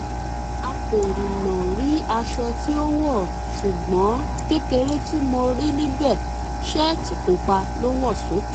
a kò rìnnà rí aṣọ tí ó wọ̀ ṣùgbọ́n kékeré tí mo rí níbẹ̀ ṣẹ́ẹ̀tì pupa ló wọ̀ sókè